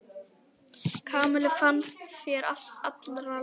Kamillu fannst sér allri lokið.